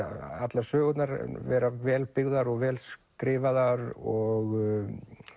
allar sögurnar vera vel byggðar og vel skrifaðar og